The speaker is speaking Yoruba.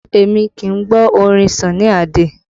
Èmi kì í gbọ́ orin Sunny Ade